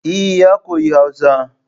Eh ya koyi Hausa